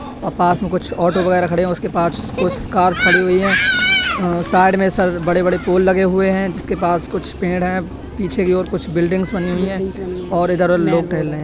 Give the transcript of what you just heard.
अ पास में कुछ ऑटो वगैरा खड़े हैं। उसके पास कुछ कार्स खड़ी हुई हैं अ साइड में सर बड़े-बड़े पोल लगे हुए हैं जिसके पास कुछ पेड़ हैं। पीछे की ओर कुछ बिल्डिंग्स बनी हुई हैं और इधर लोग टहल रहे।